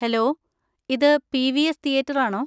Hello, ഇത് P. V. S theatre ആണോ?